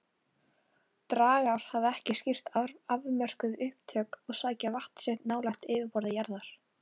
Dragár hafa ekki skýrt afmörkuð upptök og sækja vatn sitt nálægt yfirborði jarðar.